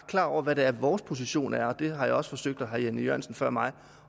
klar over hvad vores position er og det har jeg også forsøgt at sige og herre jan e jørgensen før mig